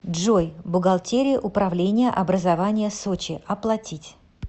джой бухгалтерия управления образования сочи оплатить